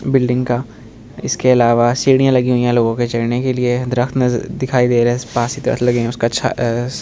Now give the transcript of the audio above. बिल्डिंगें का इसके आलावा सीढिया लगी हुई है लोगों के चढने के लिए दर्क्त नज दिखाई दे रहे है उसका छा --